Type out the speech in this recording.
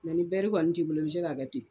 ni kɔni t'i bolo i bɛ se k'a kɛ ten